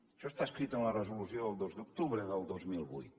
això està escrit en la resolució del dos d’octubre del dos mil vuit